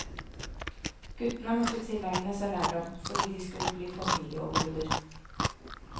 Guttene måtte tilegne seg lærdom, fordi de skulle bli familieoverhoder.